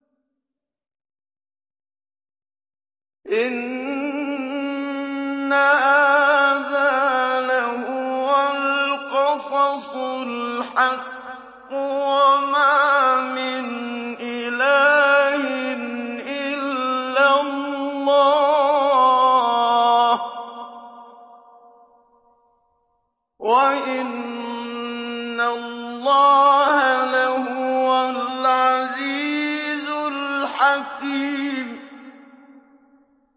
إِنَّ هَٰذَا لَهُوَ الْقَصَصُ الْحَقُّ ۚ وَمَا مِنْ إِلَٰهٍ إِلَّا اللَّهُ ۚ وَإِنَّ اللَّهَ لَهُوَ الْعَزِيزُ الْحَكِيمُ